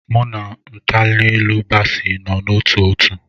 Mụ na Natanelu bási nọ n'ótú òtù